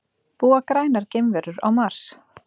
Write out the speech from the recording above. Búa grænar geimverur á Mars?